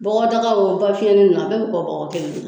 Bɔgɔdaga o bafiyɛn ninnu a bɛɛ bɛ bɔgɔ kelen ne la